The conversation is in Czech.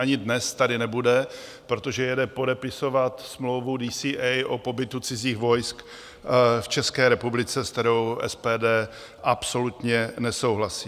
Ani dnes tady nebude, protože jede podepisovat smlouvu DCA o pobytu cizích vojsk v České republice, s kterou SPD absolutně nesouhlasí.